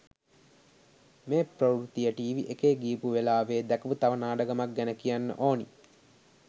මේ ප්‍රවෘත්තිය ටීවී එකේ ගියපු වෙලාවේ දැකපු තව නාඩගමක් ගැන කියන්න ඕනි.